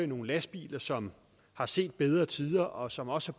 nogle lastbiler som har set bedre tider og som også